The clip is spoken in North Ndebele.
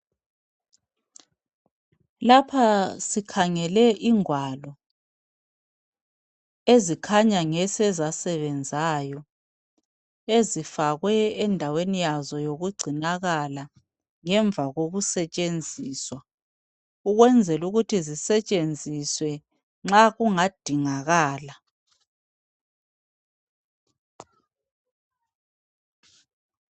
Lapha sikhangele ingwalo ezikhanya ngeseza sebenzayo ezifakwe endaweni yazo yokugcinakala ngemva kokusetshenziswa ukwenzela ukuthi zisetshenziswe nxa kungadingakala.